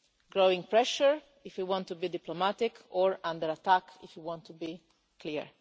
growing pressure if you want to be diplomatic or under attack, if you want to be clear.